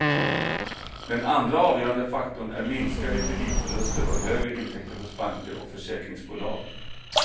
Den andra avgörande faktorn är minskade kreditförluster och högre intäkter hos banker och försäkringsbolag.